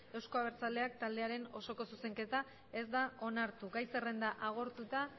euzko abertzaleak taldearen osoko zuzenketa ez da onartu gai zerrenda agortuta